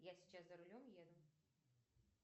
я сейчас за рулем еду